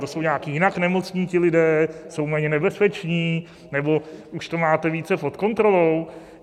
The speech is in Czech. To jsou nějak jinak nemocní ti lidé, jsou méně nebezpeční, nebo už to máte více pod kontrolou?